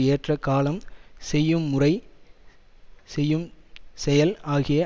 ஏற்ற காலம் செய்யும் முறை செய்யும் செயல் ஆகிய